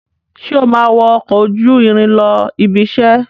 Sé o máa wọ ọkọ̀ ojú irin lọ ibiṣẹ́?